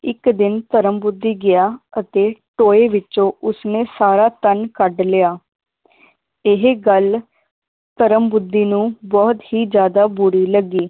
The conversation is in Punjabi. ਇੱਕ ਦਿਨ ਧਰਮ ਬੁੱਧੀ ਗਿਆ ਅਤੇ ਟੋਏ ਵਿੱਚੋਂ ਉਸਨੇ ਸਾਰਾ ਧਨ ਕੱਢ ਲਿਆ ਇਹ ਗੱਲ ਧਰਮ ਬੁੱਧੀ ਨੂੰ ਬਹੁਤ ਹੀ ਜ਼ਿਆਦਾ ਬੁਰੀ ਲੱਗੀ